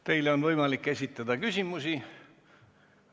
Teile on võimalik esitada küsimusi.